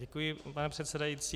Děkuji, pane předsedající.